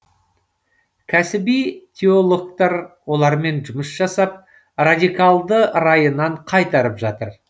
кәсіби теологтар олармен жұмыс жасап радикалды райынан қайтарып жатыр